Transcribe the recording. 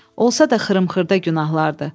Olsa da xırım-xırda günahlardır.